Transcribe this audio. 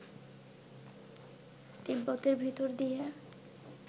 তিব্বতের ভেতর দিয়ে